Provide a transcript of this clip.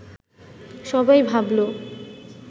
সবাই ভাবল